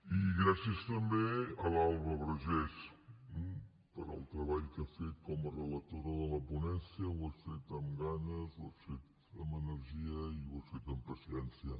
i gràcies també a l’alba vergés pel treball que ha fet com a relatora de la ponència ho has fet amb ganes ho has fet amb energia i ho has fet amb paciència